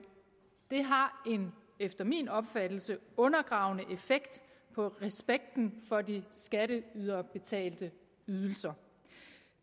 efter min opfattelse en undergravende effekt på respekten for de skatteyderbetalte ydelser